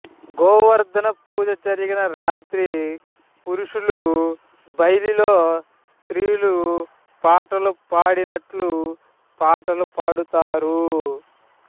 గోవర్థన పూజ జరిగిన రాత్రి పురుషులు భైలిలో స్త్రీలు పాటలు పాడినట్లు పాటలు పాడుతారు